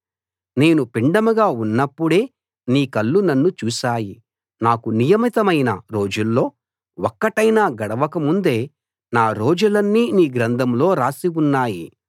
నేను పిండంగా ఉన్నప్పుడే నీ కళ్ళు నన్ను చూశాయి నాకు నియమితమైన రోజుల్లో ఒకటైనా గడవక ముందే నా రోజులన్నీ నీ గ్రంథంలో రాసి ఉన్నాయి